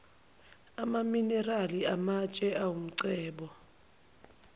amaminerali amatshe awumcebo